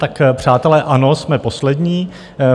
Tak přátelé, ano, jsme poslední.